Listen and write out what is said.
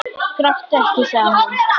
Gráttu ekki, sagði hún.